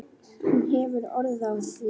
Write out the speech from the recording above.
Hún hefur orð á því.